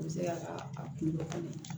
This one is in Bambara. N bɛ se ka a kunbɛ ka ɲɛ